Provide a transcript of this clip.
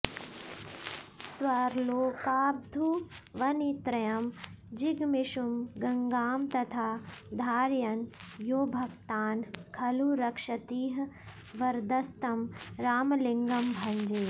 स्वर्लोकाद्भुवनत्रयं जिगमिषुं गङ्गां तथा धारयन् योभक्तान् खलु रक्षतीह वरदस्तं रामलिङ्गं भजे